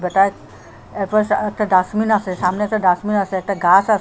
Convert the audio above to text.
তার এপাশে একটা ডাস্টবিন আসে সামনে একটা ডাস্টবিন আসে একটা গাস আসে।